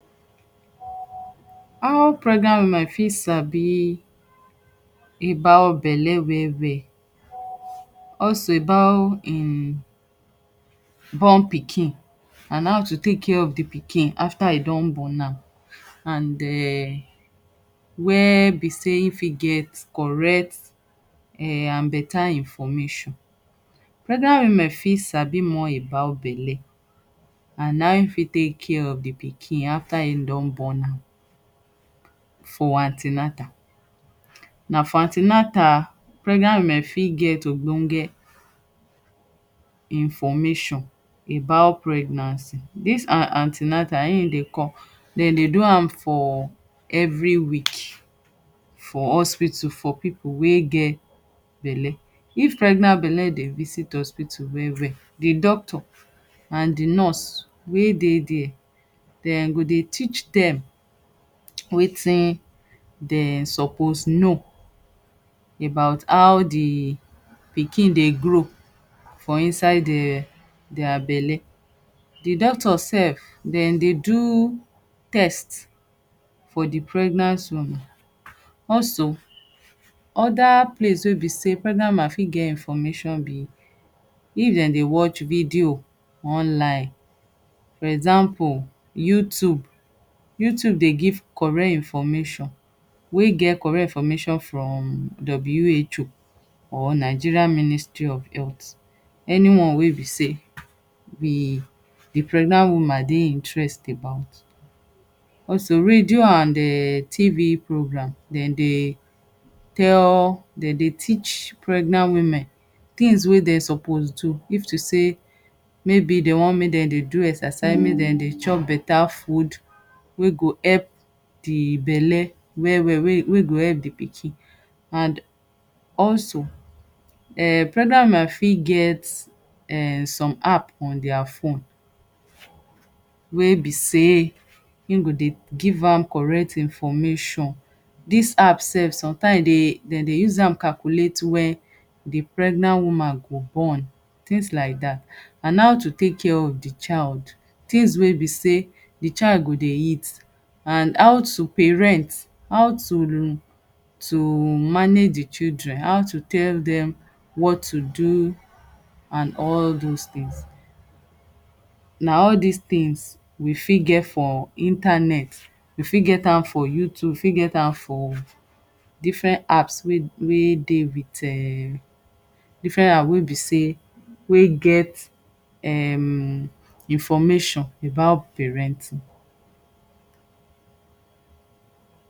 How pregnant women fit sabi about belle well well. Also, about im born pikin and how to take care of di pikin afta e don born am and um where be sey im fit get correct and beta information. Pregnant women fit sabi more about belle and how im fit take care of di pikin afta im don born am for an ten atal. Na for an ten atal pregnant women fit get ogbonge information about pregnancy. Dis an ten atal im dey come dem dey do am for every week for hospital for pipu wey get belle. If pregnant belle dey visit hospital well well, di doctor and di nurse wey dey dia dem go dey teach dem wetin dem suppose know about how di pikin dey grow for inside de dia belle. Di doctors sef, dem dey do test for di pregnant women. Also, oda place wey bi sey pregnant woman fit get information be if dem dey watch video online. For example, YouTube. YouTube dey give correct information wey get correct information from WHO or Nigerian Ministry of Health. Any one wey be sey di pregnant woman dey interest about. Also, radio and TV program dem dey tell dem dey teach pregnant women things wey de suppose do. Maybe de want make dem dey do exercise. Maybe de want make dem dey chop beta food wey go epp di belle well well wey go epp di pikin. And also, pregnant women fit get some app on dia phone wey be sey im go dey give am correct information. Dis app sef sometimes dem dey use am calculate wen di pregnant woman go born, tins laidat, and how to take care of di child. Tins wey be sey di child go dey eat and how to parent, how to manage di children, how to tell dem what to do and all those tins. Na all dis tins we fit get for internet, we fit get am for YouTube, we fit get am for different apps wey dey with um, different apps be sey wey get um information about parenting.